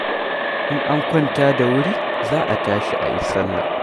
In an kwanta da wuri, za a tashi a yi salla.